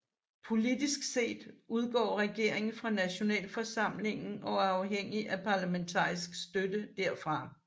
Politisk set udgår regeringen fra nationalforsamlingen og er afhængig af parlamentarisk støtte der fra